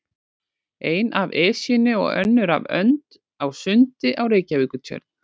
Ein af Esjunni og önnur af önd á sundi á Reykjavíkurtjörn.